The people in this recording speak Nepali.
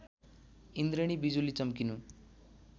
इन्द्रेणी विजुली चमकिनु